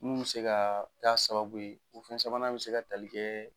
Mun bɛ se ka ta sababu ye u fɛn sabanan bɛ se ka tali kɛ